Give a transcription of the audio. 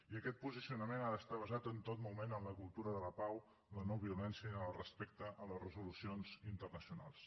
i aquest posicionament ha d’estar basat en tot moment en la cultura de la pau la no violència i el respecte a les resolucions internacionals